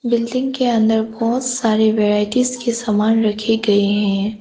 Building के अंदर बहोत सारे वैराइटीज के सामान रखे गए हैं।